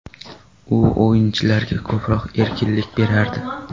U o‘yinchilarga ko‘proq erkinlik berardi.